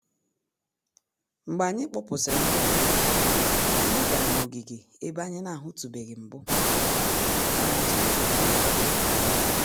Mgbe anyị kpọpụsịrị ndị ọbịa, anyị gara n'ogige ebe anyị na-ahụtụbeghị mbụ. na-ahụtụbeghị mbụ.